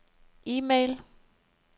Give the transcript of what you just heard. e-mail